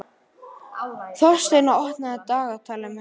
Þórsteina, opnaðu dagatalið mitt.